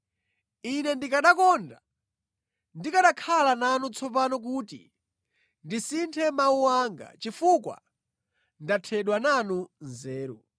ine ndikanakonda ndikanakhala nanu tsopano kuti ndisinthe mawu anga, chifukwa ndathedwa nanu nzeru.